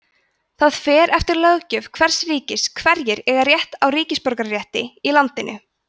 það fer eftir löggjöf hvers ríkis hverjir eiga rétt á ríkisborgararétti í landinu